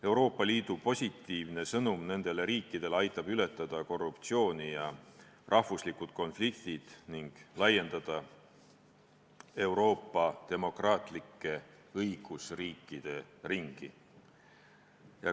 Euroopa Liidu positiivne sõnum nendele riikidele aitab ületada korruptsiooni ja rahvuslikke konflikte ning laiendada Euroopa demokraatlikke õigusriikide ringi.